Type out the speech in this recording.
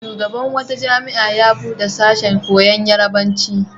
Shugaban wata jami'a ya buɗe sashen koyon Yarabanci.